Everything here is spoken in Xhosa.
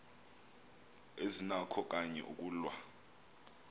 azinakho kanye ukulwa